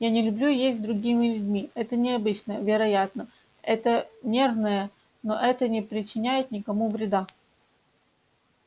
я не люблю есть с другими людьми это необычно вероятно это нервное но это не причиняет никому вреда